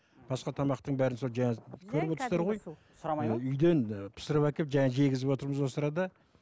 басқа тамақтың бәрін сол жаңа көріп үйден пісіріп әкеліп жегізіп отырмыз осы арада